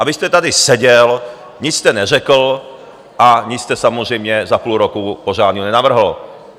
A vy jste tady seděl, nic jste neřekl a nic jste samozřejmě za půl roku pořádného nenavrhl.